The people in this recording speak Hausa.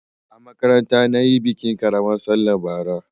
A makaranta na yi bikin ƙaramar sallah bara.